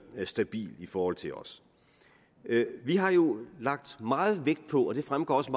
stabil i forhold til os vi har jo lagt meget vægt på og det fremgår også